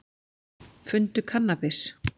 Fundu kannabis